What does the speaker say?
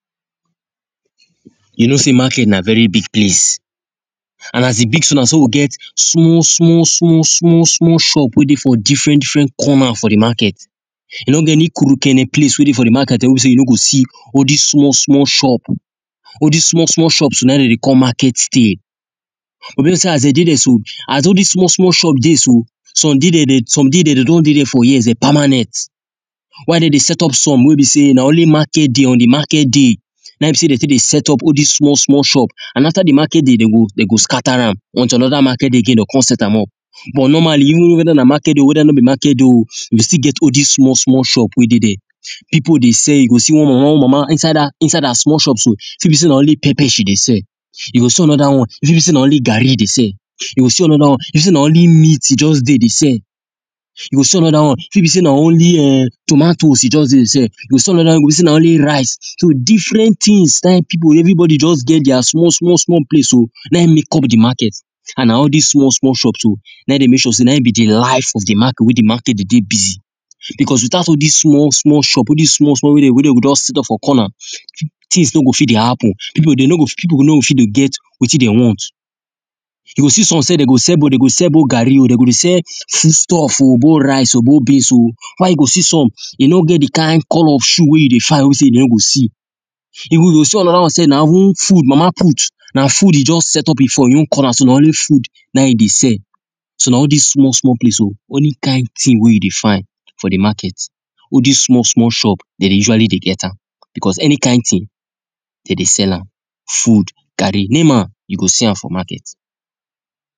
you no say market nah very big place and as e big so nah so we get small small small small small shop weh deh for different different corner for the market e no get any crukene place weh deh for the market weh be say you no go see all dis small small shop all dis small small shops nah in dem deh call market day am say as dem deh there so as all dis small small shops deh so some deh there some don deh there for years deh permanent while dem deh set up some weh be nah only market day on the market day nah in be them take deh set up all this small shop and after the market day dem go scatter am until another market day again go come set am up but normally even whether nah market day o or whether no be market day o we still get all dis small small shops weh deh there people deh sell you go see one mama one mama inside her inside her small shop o e fit be say nah only pepper she deh sell you go see another one e fit be say nah only garri she deh sell you see another one e fit be say nah only meat she just deh deh sell you go see another one e fit be say nah only um tomatoes e just deh deh sell you go see another one e fit be say nah only rice so different tins nah in people everybody just get their small small small place o nah in make up the market and nah all dis small small small shops o nah in dem make sure say nah in be the life of the market weh the market deh deh busy because without all dis small small shop all dis small small weh them deh see them for conner tins no go fit deh happen people them no go people no go fit get wetin dey want you go see some say them go sell both them go sell bowl garri them go deh sell food stuffs o bowl rice o bowl beans o why you go see some e no get the kind colour of shoe weh you deh find weh you no go see even you go see another one weh be say nah home food nah mama put nah food e just set up for in own conner so nah only food nah in e deh sell so nah all dis small small place o any kind thing weh you deh find for the market all dis small small shops dem deh usually deh get am because any kind tin dem deh sell am food garri name am you go see am for market